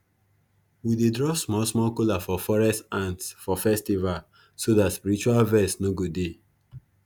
we dey drop small small kola for forest ants for festivals so dat spiritual vex no go dey